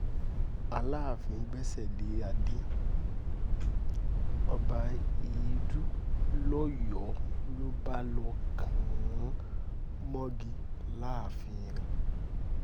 alaàfin gbẹ́sẹ̀ lé adé ọba edu lọ́yọ̀ọ́ ló bá lọ́ọ kàn án mọ́gi láàfin rẹ̀